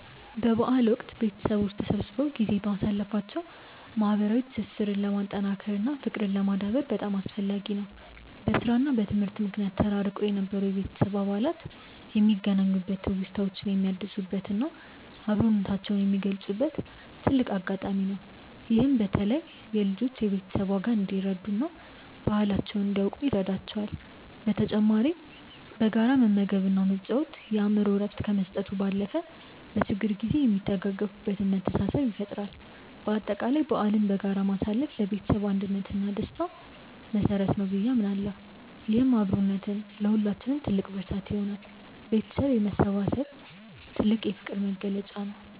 በበዓል ወቅት ቤተሰቦች ተሰብስበው ጊዜ ማሳለፋቸው ማህበራዊ ትስስርን ለማጠናከር እና ፍቅርን ለማዳበር በጣም አስፈላጊ ነው። በስራ እና በትምህርት ምክንያት ተራርቀው የነበሩ የቤተሰብ አባላት የሚገናኙበት፣ ትውስታዎችን የሚያድሱበት እና አብሮነታቸውን የሚገልጹበት ትልቅ አጋጣሚ ነው። ይህም በተለይ ለልጆች የቤተሰብን ዋጋ እንዲረዱ እና ባህላቸውን እንዲያውቁ ይረዳቸዋል። በተጨማሪም በጋራ መመገብ እና መጫወት የአእምሮ እረፍት ከመስጠቱ ባለፈ፣ በችግር ጊዜ የሚደጋገፉበትን መተሳሰብ ይፈጥራል። በአጠቃላይ በዓልን በጋራ ማሳለፍ ለቤተሰብ አንድነት እና ለደስታ መሰረት ነው ብዬ አምናለሁ። ይህም አብሮነት ለሁላችንም ትልቅ ብርታት ይሆናል። ቤተሰብ መሰባሰቡ የፍቅር መግለጫ ነው።